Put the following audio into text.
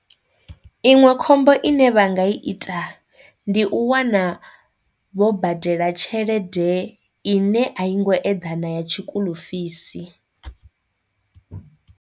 Iṅwe khombo ine vha nga i ita ndi u wana vho badela tshelede ine a i ngo eḓana ya tshikulufisi.